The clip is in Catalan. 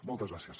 moltes gràcies